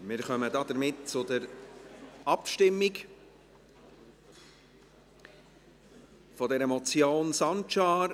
Wir kommen damit zur Abstimmung über diese Motion Sancar.